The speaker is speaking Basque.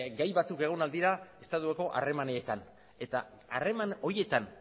gai batzuk egon ahal dira estatuko harremanetan eta harreman horietan